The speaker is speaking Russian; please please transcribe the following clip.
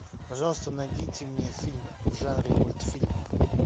пожалуйста найдите мне фильм в жанре мультфильм